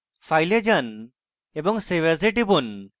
file এ যান file এবং save as এ টিপুন